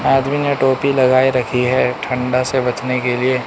आदमी ने टोपी लगाए रखी है ठंडा से बचने के लिए --